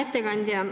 Aitäh!